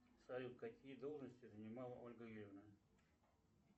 салют какие должности занимала ольга юрьевна